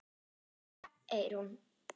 Kveðja, Eyrún.